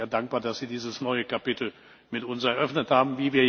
Deshalb sind wir dankbar, dass Sie dieses neue Kapitel mit uns eröffnet haben.